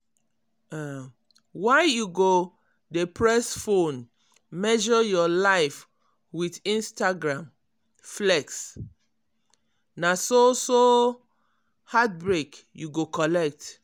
um why you go dey press phone ]?] measure your life with instagram um flex? na so so so heartbreak you go collect.